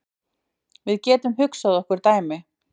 Við getum hugsað okkur dæmi.